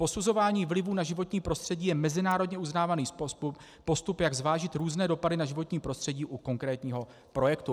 Posuzování vlivů na životní prostředí je mezinárodně uznávaný postup, jak zvážit různé dopady na životní prostředí u konkrétního projektu."